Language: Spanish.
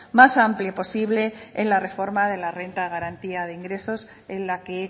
más amplio posible en la reforma de la renta de garantía de ingresos en la que